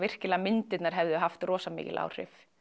myndirnar hefðu haft rosa mikil áhrif